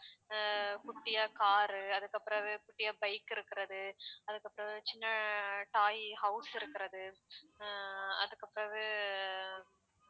அஹ் குட்டியா car உ அதுக்கப்புறவு குட்டியா bike இருக்கிறது அதுக்கப்புறம் சின்ன toy house இருக்கிறது அஹ் அதுக்குபிறவு